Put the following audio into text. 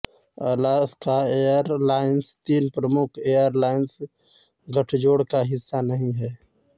Alaska airlines तीन प्रमुख airlines गठजोड़ का हिस्सा नहीं हैं